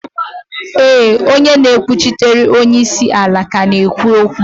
éè, onye na-ekwuchitere onye isi ala ka na-ekwu okwu